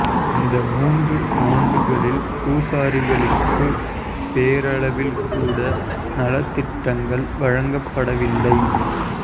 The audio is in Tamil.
இந்த மூன்று ஆண்டுகளில் பூசாரிகளுக்கு பேரளவில் கூட நலத்திட்டங்கள் வழங்கப் பட வில்லை